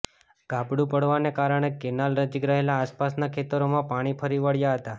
ગાબડું પડવાને કારણે કેનાલ નજીક રહેલા આસપાસના ખેતરોમાં પાણી ફરી વળ્યા હતા